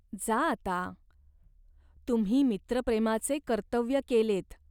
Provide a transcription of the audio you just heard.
जा आता. तुम्ही मित्रप्रेमाचे कर्तव्य केलेत.